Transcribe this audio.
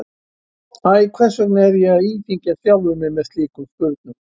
Æ, hvers vegna er ég að íþyngja sjálfum mér með slíkum spurnum?